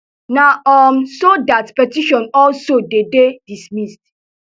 na um so dat petition also dey dey dismissed